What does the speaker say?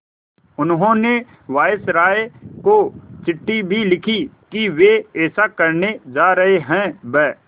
उन्होंने वायसरॉय को चिट्ठी भी लिखी है कि वे ऐसा करने जा रहे हैं ब्